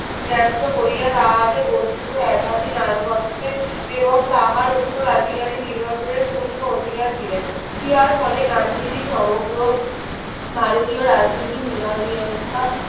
ন্যাস্ত করিয়া তাহাকে বস্তুত একাধিনায়কত্বে এবং তাহার উত্তরাধিকারী নির্বাচনের পূর্ণ অধিকার দিলেন। ইহার ফলে গান্ধীজি সমগ্র ভারতীয় রাজনীতির